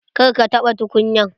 Kar ka taɓa tukunyan!